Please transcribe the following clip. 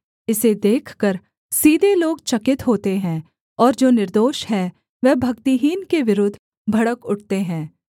इसे देखकर सीधे लोग चकित होते हैं और जो निर्दोष हैं वह भक्तिहीन के विरुद्ध भड़क उठते हैं